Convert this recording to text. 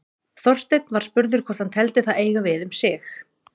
Þorsteinn var spurður hvort hann teldi það eiga við um sig.